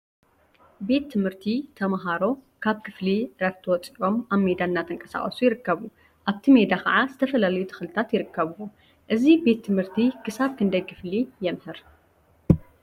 ቤት ትምህርቲ ተምሃሮ ካብ ክፍሊ ዕረፍቲ ወፂኦም አብ ሜዳ እናተንቀሳቀሱ ይርከቡ፡፡ አብቲ ሜዳ ከዓ ዝተፈላለዩ ተክልታት ይርከቡዎም፡፡ እዚ ቤት ትምህርቲ ክሳብ ክንደይ ክፍሊ የምህር?